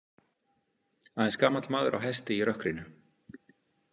Aðeins gamall maður á hesti í rökkrinu.